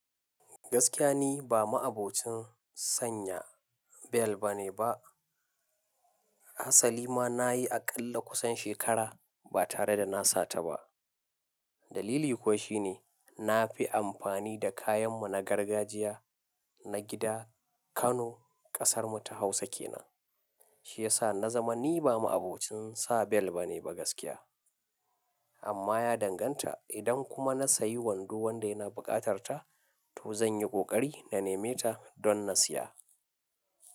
Gaskiya ni ba ma'a bocin sanya bel ba ne ba. Asali ma na yi aƙalla kusan shekara ba tare da na sata ba. Dalili kuwa shi ne na fi amfani da kayan mu na gargajiya na gida. Kano, ƙasarmu ta Hausa ke nan, shiyasa na zama ni ba ma'abocin sa bel ba ne ba gaskiya. Amma ya dan ganta idan kuma na sayi wando wanda yana buƙatar ta to zanyi ƙiƙari na neme ta don na siya.